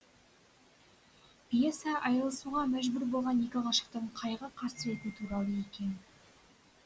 пьеса айрылысуға мәжбүр болған екі ғашықтың қайғы қасіреті туралы екен